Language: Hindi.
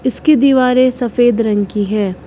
इसकी दीवारें सफेद रंग की है।